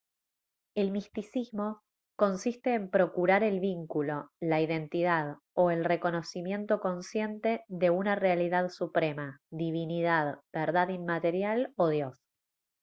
el misticismo consiste en procurar el vínculo la identidad o el reconocimiento consciente de una realidad suprema divinidad verdad inmaterial o dios